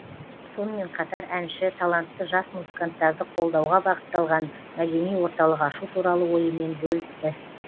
сонымен қатар әнші талантты жас музыканттарды қолдауға бағытталған мәдени орталық ашу туралы ойымен бөлісті